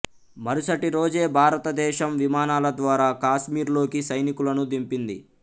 మరుసటి రోజే భారతదేశం విమానాల ద్వారా కాశ్మీర్లోకి సైనికులను దింపింది